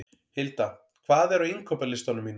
Hilda, hvað er á innkaupalistanum mínum?